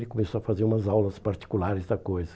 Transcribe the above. Ele começou a fazer umas aulas particulares da coisa.